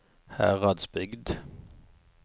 Heradsbygd